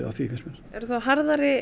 finnst mér eru þá harðari